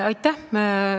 Aitäh!